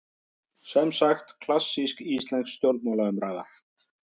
Semsagt klassísk íslensk stjórnmálaumræða.